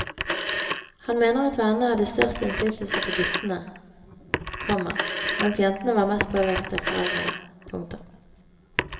Han mener at vennene hadde størst innflytelse på guttene, komma mens jentene var mest påvirket av foreldrene. punktum